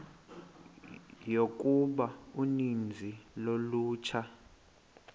yokuba uninzi lolutsha